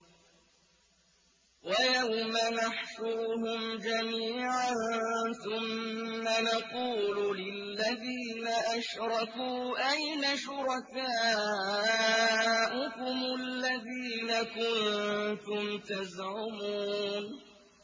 وَيَوْمَ نَحْشُرُهُمْ جَمِيعًا ثُمَّ نَقُولُ لِلَّذِينَ أَشْرَكُوا أَيْنَ شُرَكَاؤُكُمُ الَّذِينَ كُنتُمْ تَزْعُمُونَ